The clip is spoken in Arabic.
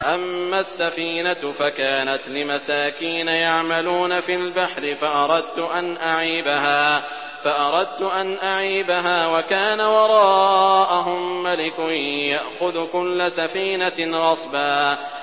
أَمَّا السَّفِينَةُ فَكَانَتْ لِمَسَاكِينَ يَعْمَلُونَ فِي الْبَحْرِ فَأَرَدتُّ أَنْ أَعِيبَهَا وَكَانَ وَرَاءَهُم مَّلِكٌ يَأْخُذُ كُلَّ سَفِينَةٍ غَصْبًا